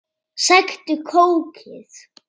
Sæktu kókið.